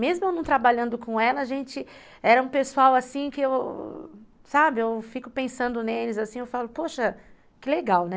Mesmo eu não trabalhando com ela, a gente era um pessoal assim que eu, sabe, eu fico pensando neles assim, eu falo, poxa, que legal, né?